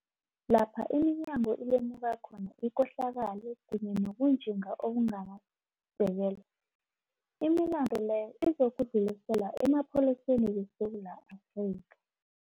Lapha iminyango ilemuka khona ikohlakalo kunye nobunjinga obunganasisekelo, imilandu leyo izokudluliselwa emaPholiseni weSewula Afrika.